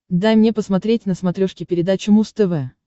дай мне посмотреть на смотрешке передачу муз тв